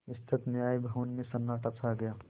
विस्तृत न्याय भवन में सन्नाटा छा गया